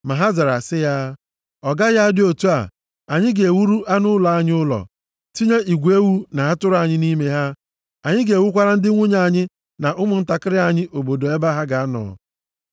Ma ha zara sị ya, “Ọ gaghị adị otu a! Anyị ga-ewuru anụ ụlọ anyị ụlọ, tinye igwe ewu na atụrụ anyị nʼime ha. Anyị ga-ewukwara ndị nwunye anyị na ụmụntakịrị anyị obodo ebe ha ga-anọ.